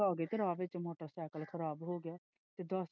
ਤੇ ਰਾਹ ਵਿੱਚ ਮੋਟਰ ਸਾਈਕਲ ਖ਼ਰਾਬ ਹੋ ਗਿਆ।